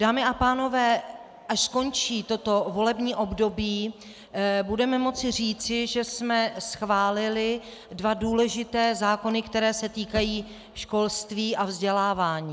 Dámy a pánové, až skončí toto volební období, budeme moci říci, že jsme schválili dva důležité zákony, které se týkají školství a vzdělávání.